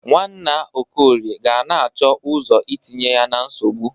Nwanna Okorie ga na-achọ ọzọ itinye ya na nsogbụ.